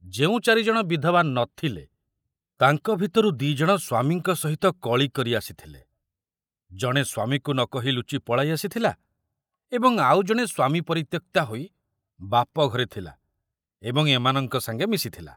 ଯେଉଁ ଚାରି ଜଣ ବିଧବା ନଥିଲେ, ତାଙ୍କ ଭିତରୁ ଦି ଜଣ ସ୍ବାମୀଙ୍କ ସହିତ କଳି କରି ଆସିଥିଲେ, ଜଣେ ସ୍ବାମୀକୁ ନ କହି ଲୁଚି ପଳାଇ ଆସିଥିଲା ଏବଂ ଆଉ ଜଣେ ସ୍ୱାମୀ ପରିତ୍ୟକ୍ତା ହୋଇ ବାପଘରେ ଥିଲା ଏବଂ ଏମାନଙ୍କ ସାଙ୍ଗେ ମିଶିଥିଲା।